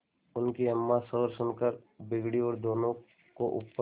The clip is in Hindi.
उनकी अम्मां शोर सुनकर बिगड़ी और दोनों को ऊपर